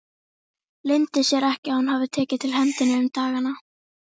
Leyndi sér ekki að hún hafði tekið til hendi um dagana.